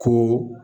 Kun